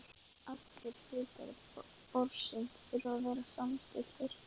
Allir hlutar borsins þurfa að vera samstilltir.